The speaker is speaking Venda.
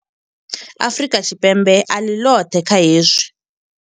Afrika Tshipembe a ḽi ḽoṱhe kha hezwi.